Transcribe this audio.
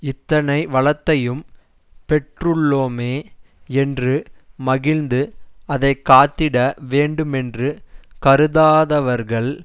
இத்தனை வளத்தையும் பெற்றுள்ளோமே யென்று மகிழந்து அதை காத்திட வேண்டுமென்று கருதாதவர்கள்